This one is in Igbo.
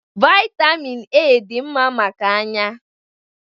Vitamin A dị mma maka anya